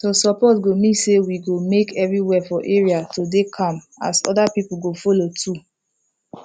to support go mean say we go make everywhere for area to dey calm as other people go follow too